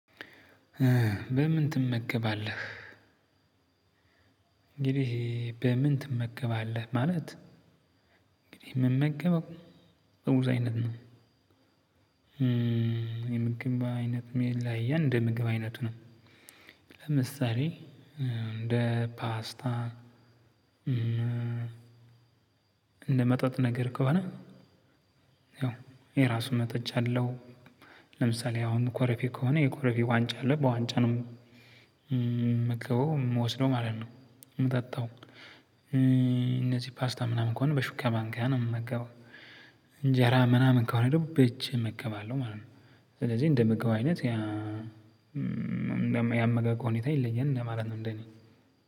ምን ምን ትመገባለህ? እንግዲህ በምን ትመገባለህ ማለት? እምመገበው በብዙ አይነት ነው። የምግብ አይነት መላያ እንደ ምግብ አይነት ነው። ለምሳሌ እንደ ፓስታ። እንደ መጠጥ ነገር ከሆነ ያው የራሱን መጠጫ አለው። ለምሳሌ አሁን ኮረፊ ከሆነ የኮረፊ ዋንጫ አለ በዋንጫ ነው የምመገበው የምወስደው ማለት ነው የምጠጣው። እነዚህ ፓስታ ምናምን ከሆነ በሹካ ባንካ ነው የምመገባው። እንጀራ ምናምን ከሆነ ደግሞ በእጄ እመገባለሁ ማለት ነው። ስለዚህ እንደ ምግብ አይነት ያመጋገብ ሁኔታ ይለያል ማለት ነው። እንደኔ